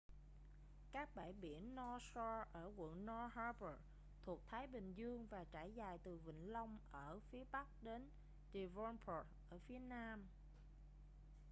các bãi biển north shore ở quận north harbour thuộc thái bình dương và trải dài từ vịnh long ở phía bắc đến devonport ở phía nam